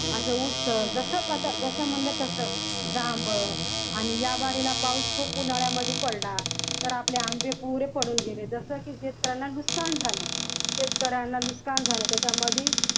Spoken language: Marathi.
आता ऊस जस जस आता म्हणलं तस जांब आणि ह्या वारीला पाऊस खूप उन्हाळ्यामध्ये पडला तर आपले आंबे पुरे पडून गेले तस शेतकऱ्याला नुकसान झालं शेतकऱ्यांना नुकसान झालं त्याच्यामधी